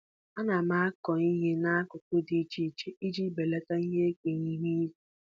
Ana m akụ ihe n’akụkụ dị iche iche iji belata ihe egwu ihu igwe.